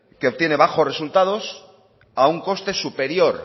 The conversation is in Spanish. que obtiene bajos resultados a un coste superior